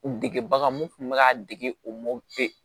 U dege bagan mun kun bɛ k'a dege o